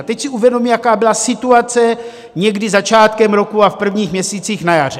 A teď si uvědomme, jaká byla situace někdy začátkem roku a v prvních měsících na jaře.